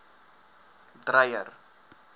dreyer